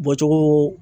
Bɔcogo